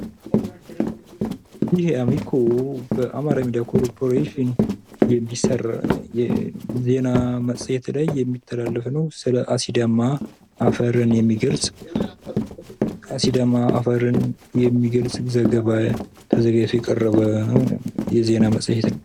ይህ አሚኮ በአማራ ሚዳያ ኮርፖሬሽን ዜና መፅሄት ላይ የሚተላለፍ ነው ስለ አሲዳማ አፈርን የሚገልፅ ።አሲዳማ አፈርን የሚገልፅ ዘገባ ተዘጋጅቶ የቀረበ የዜና መፅሄት ነው ።